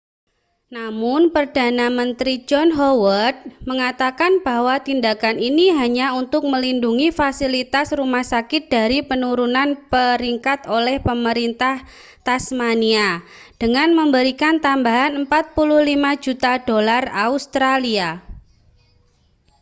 namun perdana menteri john howard mengatakan bahwa tindakan itu hanya untuk melindungi fasilitas rumah sakit dari penurunan peringkat oleh pemerintah tasmania dengan memberikan tambahan 45 juta dolar australia